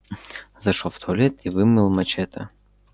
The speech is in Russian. зашёл в туалет и вымыл мачете